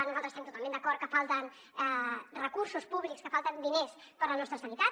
nosaltres estem totalment d’acord que falten recursos públics que falten diners per a la nostra sanitat